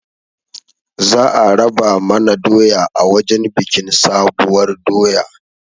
Za a raba mana doya a wajen biƙin sabuwar doya